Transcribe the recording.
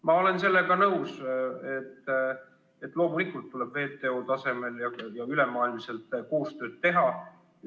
Ma olen sellega nõus, et loomulikult tuleb WTO tasemel ja ülemaailmselt koostööd teha.